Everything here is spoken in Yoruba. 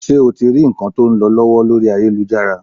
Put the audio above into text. Ṣé o ti rí nǹkan tó ń lọ lọ́wọ́ lórí ayélujára?